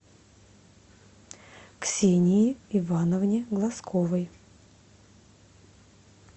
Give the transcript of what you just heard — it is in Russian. ксении ивановне глазковой